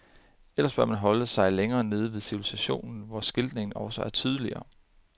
Ellers bør man holde sig længere nede ved civilisationen, hvor skiltningen også er tydeligere.